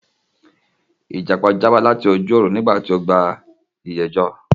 Ìjàpá já bọ́ láti ojú òrun ní ìgbà tó gba ìyé jọ